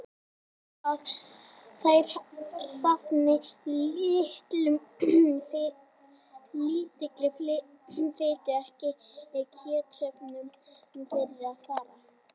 Talið er að þær safni lítilli fitu og ekki er kjötsöfnun fyrir að fara.